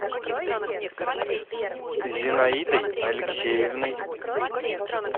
зинаидой алексеевной